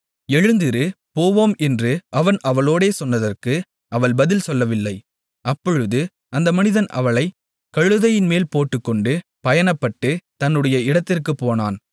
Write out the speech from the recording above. எழுந்திரு போவோம் என்று அவன் அவளோடே சொன்னதற்கு அவள் பதில் சொல்லவில்லை அப்பொழுது அந்த மனிதன் அவளைக் கழுதையின்மேல் போட்டுக்கொண்டு பயணப்பட்டு தன்னுடைய இடத்திற்குப் போனான்